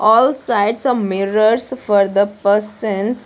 All sides of mirrors for the persons --